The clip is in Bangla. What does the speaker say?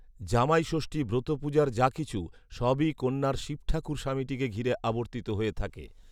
‘জামাইষষ্ঠী’ ব্রতপূজার যা কিছু, সবই কন্যার শিবঠাকুর স্বামীটিকে ঘিরে আবর্তিত হয়ে থাকে